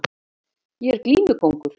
Ég er glímukóngur